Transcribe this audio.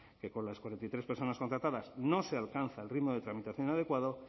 que con las cuarenta y tres personas contratadas no se alcanza el ritmo de tramitación adecuado